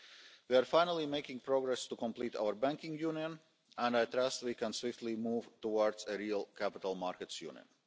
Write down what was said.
We are finally making progress to complete our Banking Union and I trust we can move swiftly towards a real Capital Markets Union.